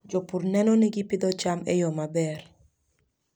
Jopur neno ni gipidho cham e yo maber.